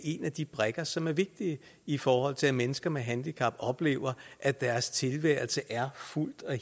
en af de brikker som er vigtige i forhold til at mennesker med handicap oplever at deres tilværelse er fuldt og